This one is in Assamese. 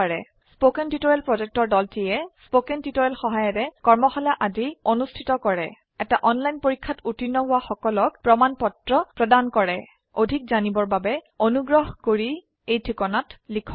কথন শিক্ষণ প্ৰকল্পৰ দলটিয়ে কথন শিক্ষণ সহায়িকাৰে কৰ্মশালা আদি অনুষ্ঠিত কৰে এটা অনলাইন পৰীক্ষাত উত্তীৰ্ণ হোৱা সকলক প্ৰমাণ পত্ৰ প্ৰদান কৰে অধিক জানিবৰ বাবে অনুগ্ৰহ কৰি contactspoken tutorialorg এই ঠিকনাত লিখক